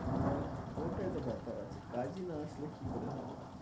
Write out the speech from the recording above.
তাহলে, ওটাই তো ব্যাপার আছে কাজই না আসলে কি করে হবে